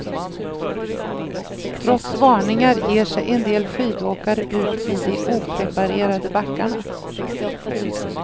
Trots varningar ger sig en del skidåkare ut i de opreparerade backarna.